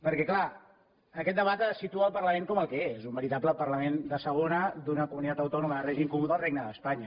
perquè clar aquest debat situa el parlament com el que és un veritable parlament de segona d’una comunitat autònoma de règim comú del regne d’espanya